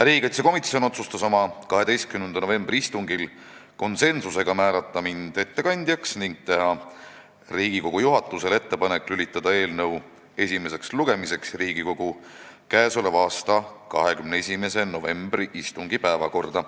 Riigikaitsekomisjon otsustas oma 12. novembri istungil konsensusega määrata mind ettekandjaks ning teha Riigikogu juhatusele ettepaneku lülitada eelnõu esimeseks lugemiseks Riigikogu k.a 21. novembri istungi päevakorda.